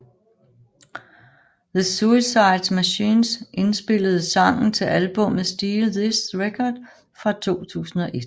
The Suicide Machines indspillede sangen til albummet Steal This Record fra 2001